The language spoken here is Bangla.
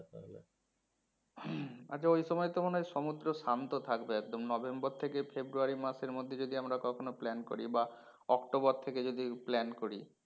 আচ্ছা ওই সময় তো মনে হয় সমুদ্র শান্ত থাকবে একদম নভেম্বর থেকে ফেব্রয়ারী মাসের মধ্যে যদি আমরা কখনো plan করি বা অক্টোবর থেকে যদি plan করি